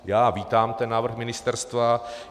Já vítám ten návrh ministerstva.